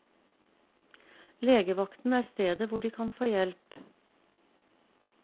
Legevakten er stedet hvor de kan få hjelp.